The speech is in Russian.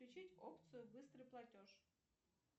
включить опцию быстрый платеж